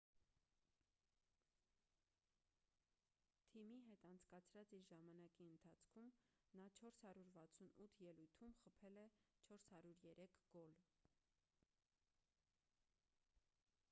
թիմի հետ անցկացրած իր ժամանակի ընթացքում նա 468 ելույթում խփել է 403 գոլ